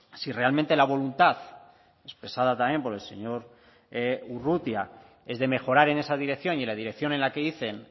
si realmente la voluntad expresada también por el señor urrutia es de mejorar en esa dirección y la dirección en la que dicen